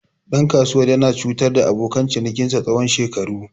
Ɗan kasuwar yana cutar da abokan cinikinsa tsawon shekaru.